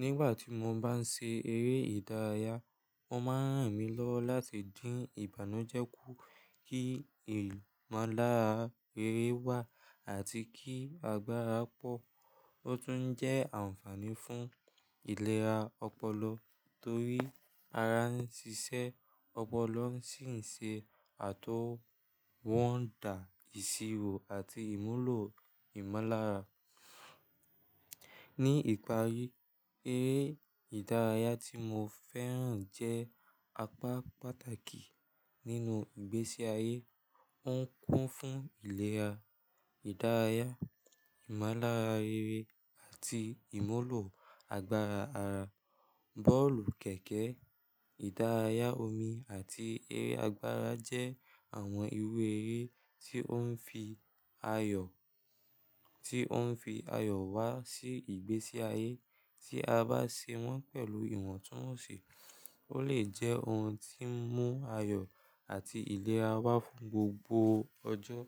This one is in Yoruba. Nígbà tí mo bá ń ṣe eré ìdárayá, o máa ń ràn mí lọ́wọ́ láti dín ìbànújẹ́ kú, kí i ìmúlára rere wá àti kí agbára pọ̀. Ó tún jẹ́ àǹfààní fún ìlera ọpọlọ torí ara ń ṣiṣẹ́, ọpọlọ sì ń ṣe àtọwọ́dá ìṣirò àti ìmúlò ìmúlára. Ni ìparí, eré ìdárayá tí mo fẹ́ràn jẹ́ apá pàtàkì nínú ìgbésí ayé. Ó ń kún fún ìlera, ìdárayá, ìmúlára rere àti ìmúlò agbára ara. Bọ́ọ̀lù, kẹ̀kẹ́, ìdárayá omi àti eré agbára jẹ́ àwọn irú eré tí ó ń fi ayọ̀ wá sí ìgbésí ayé. Tí a bá ṣe wọ́n pẹ̀lú ìwọ̀ntúnwọ̀nsì, ó lè jẹ́ ohun tí ń mú ayọ̀ àti ìlera wá fún gbogbo ọjọ́.